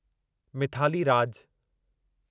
Mithali Raj